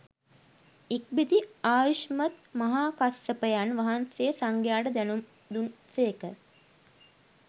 ඉක්බිති ආයුෂ්මත් මහාකස්සපයන් වහන්සේ සංඝයාට දැනුම් දුන් සේක